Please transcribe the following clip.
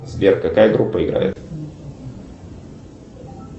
сбер какая группа играет